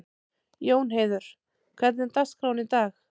Jónheiður, hvernig er dagskráin í dag?